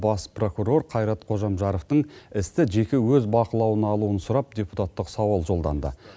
бас прокурар қайрат қожамжаровтың істі жеке өз бақылауына алуын сұрап депутаттық сауал жолданды